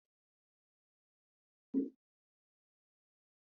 Tsarin kidayar al’ada, kamar “nnu ego” a harshen Igbo, sun bambanta da al’adu.